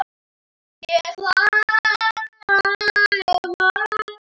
Ég hlæ.